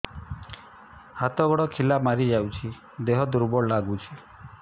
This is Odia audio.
ହାତ ଗୋଡ ଖିଲା ମାରିଯାଉଛି ଦେହ ଦୁର୍ବଳ ଲାଗୁଚି